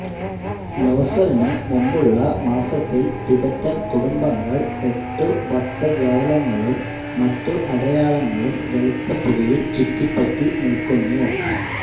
ലോസറിനു മുമ്പുള്ള മാസത്തിൽ ടിബറ്റൻ കുടുംബങ്ങൾ എട്ടു ഭക്തജാലങ്ങളും മറ്റു അടയാളങ്ങളും വെളുത്ത പൊടിയിൽ ചുറ്റിപ്പറ്റി നിൽക്കുന്നു